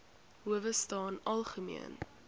howe staan algemeen